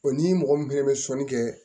ni mɔgɔ min fana bɛ sɔnni kɛ